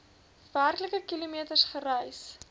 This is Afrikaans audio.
werklike kilometers gereis